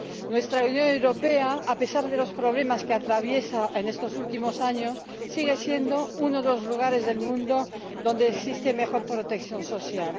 Nuestra Unión Europea, a pesar de los problemas que atraviesa en estos últimos años, sigue siendo uno de los lugares del mundo donde existe mejor protección social.